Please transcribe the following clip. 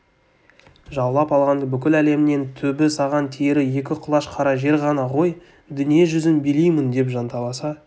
жаулап алған бүкіл әлемнен түбі саған тиері екі құлаш қара жер ғана ғой дүние жүзін билеймін деп жанталаса